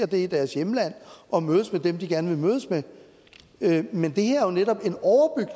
det i deres hjemland og mødes med dem de gerne vil mødes med men det her er jo netop